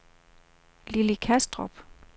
Lilli Kastrup